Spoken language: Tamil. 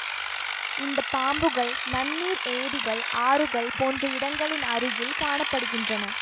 இந்த பாம்புகள் நன்னீர் ஏரிகள் ஆறுகள் போன்ற இடங்களின் அருகில் காண படுகின்றன